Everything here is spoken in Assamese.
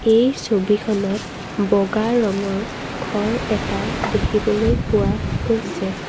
এই ছবিখনত বগা ৰঙৰ ঘৰ এটা দেখিবলৈ পোৱা গৈছে।